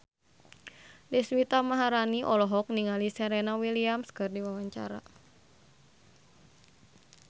Deswita Maharani olohok ningali Serena Williams keur diwawancara